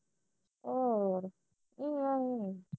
ਹੋਰ